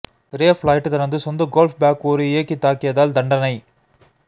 ரே Floyd தனது சொந்த golf bag ஒரு இயக்கி தாக்கியதால் தண்டனை